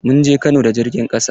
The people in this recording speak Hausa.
Mun je Kano da jirgin ƙasa.